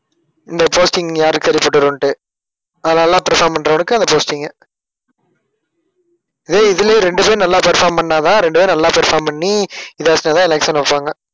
இந்த posting யாரு சரிப்பட்டு வரும்ன்ட்டு. அது நல்லா perform பண்றவனுக்கு அந்த posting உ அஹ் இதுலயே இரண்டு பேர் நல்லா perform பண்ணாதான் இரண்டு பேரும் நல்லா perform பண்ணி election வைப்பாங்க.